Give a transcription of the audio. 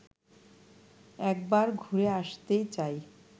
একবার ঘুরে আসতে চাই